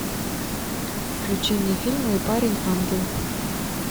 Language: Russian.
включи мне фильм мой парень ангел